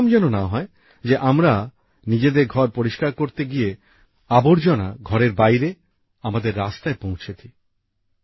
এরকম যেন না হয় যে আমরা নিজেদের ঘর পরিষ্কার করতে গিয়ে ঘরের আবর্জনা ঘরের বাইরে আমাদের রাস্তায় পৌঁছে দিই